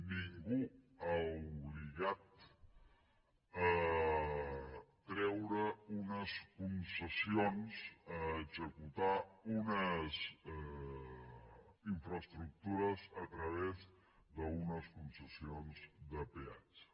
ningú ha obligat a treure unes concessions a executar unes infraestructures a través d’unes concessions de peatge